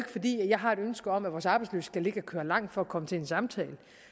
fordi jeg har et ønske om at vores arbejdsløse skal ligge og køre langt for at komme til en samtale